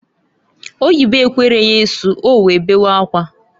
Oyibo ekwere ya isu, owee bewe akwa.